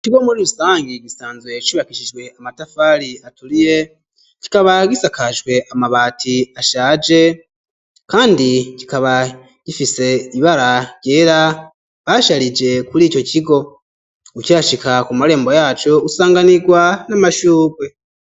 Ikigo muri usangi kisanzwe cubakishijwe amatafaali atuliye cikaba gisakajwe amabati ashaje kandi kikaba kifise ibara ryera basharije kuri ico cigo ucihashika ku marembo yaco usanganigwa namashugwe.